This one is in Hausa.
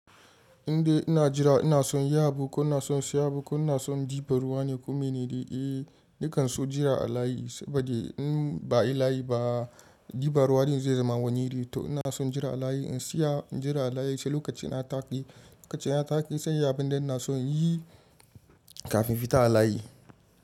Indai ina jira ina son inyi abu ko ina son siya bu ko ina son diba ruwa ne komai ne dai. Eh, ni kan so jira a layi saboda in ba yi layi ba dibar ruwan zai zama wani iri. To ina son jira a layi in tsaya, jira a layi sai lokacin na taƙi. Lokacin ya taƙi sai yabon da ina son yi kafin fita a layi.